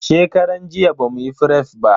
Shekaran jiya bamuyi fref ba.